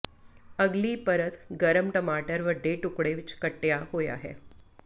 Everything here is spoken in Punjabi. ਅਗਲੀ ਪਰਤ ਗਰਮ ਟਮਾਟਰ ਵੱਡੇ ਟੁਕੜੇ ਵਿਚ ਕੱਟਿਆ ਹੋਇਆ ਹੈ